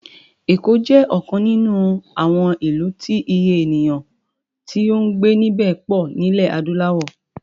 Èkó jẹ́ ọ̀kan nínú àwọn ìlú tí Iye ènìyàn tí ó ń gbé níbẹ̀ pọ̀ nílẹ̀ adúláwò